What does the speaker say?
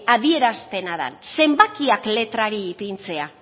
adierazpena den zenbakiak letrari ipintzea